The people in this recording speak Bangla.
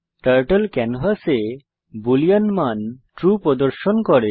টার্টল ক্যানভাসে বুলিন মান ট্রু প্রদর্শন করে